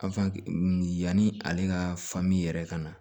yanni ale ka yɛrɛ ka na